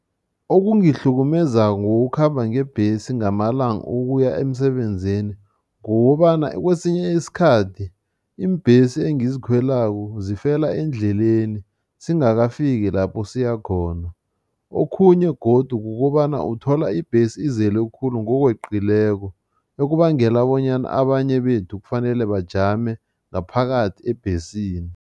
Okungihlukumezako ngokukhamba ngebhesi ngamalanga ukuya emsebenzini kukobana kwesinye isikhathi, iimbhesi engizikhwelako zifela endleleni singakafiki lapho siyakhona. Okhunye godu kukobana uthola ibhesi izele khulu ngokweqileko, okubangela bonyana abanye bethu kufanele bajame ngaphakathi ebhesini.